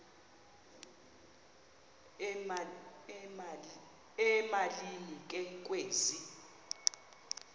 emalini ke kwezi